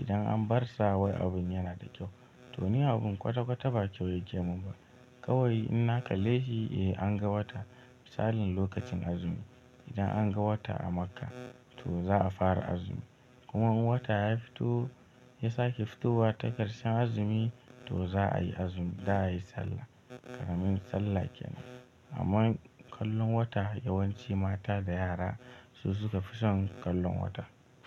Idan an bar sa wai abin yana da kyau to ni abin kwata kwata ba kyau yake mun ba. Kawai ina kalle shi eh an ga wata misalin lokacin azumi idan an ga wata a Makka to za a fara azumi. Kuma in wata ya fito ya sake fitowa ta ƙarshen azumi to za a yi azumi za a yi sallah. Ƙaramin sallah kenan. Amma kallon wata yawanci mata da yara su suka fi son kallon wata.